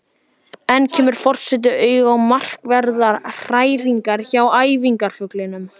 Enn kemur forseti auga á markverðar hræringar hjá æðarfuglinum.